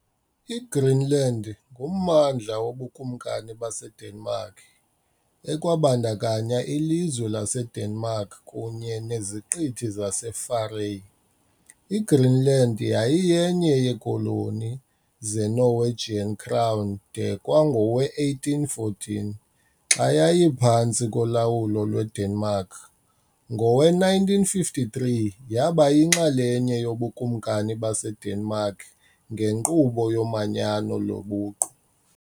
IGreenland ngummandla woBukumkani baseDenmark, ekwabandakanya ilizwe laseDenmark kunye neZiqithi zaseFarae. IGreenland yayiyenye yeekoloni zeNorwegian Crown de kwangowe-1814, xa yayiphantsi kolawulo lweDenmark, ngowe-1953 yaba yinxalenye yobukumkani baseDenmark ngenkqubo yomanyano lobuqu.